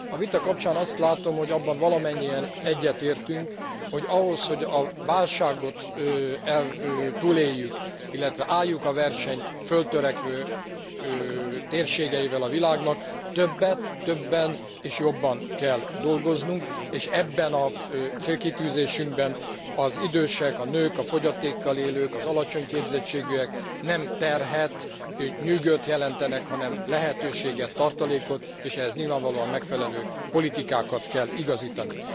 A vita kapcsán azt látom, hogy abban valamennyien egyetértünk, hogy ahhoz, hogy a válságot túléljük, illetve álljuk a versenyt föltörekvő térségeivel a világnak, többet, többen és jobban kell dolgoznunk, és ebben a célkitűzésünkben az idősek, a nők, a fogyatékkal élők, az alacsony képzettségűek nem terhet, nem nyűgöt jelentenek, hanem lehetőséget, tartalékot, és ehhez nyilvánvalóan megfelelő politikákat kell igazítani.